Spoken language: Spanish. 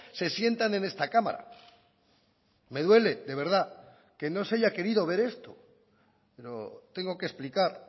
se sientan en esta cámara me duele de verdad que no se haya querido ver esto pero tengo que explicar